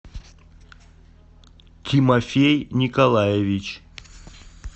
тимофей николаевич